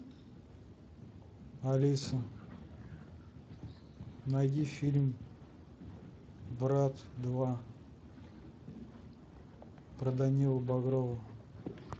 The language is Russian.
алиса найди фильм брат два про данилу багрова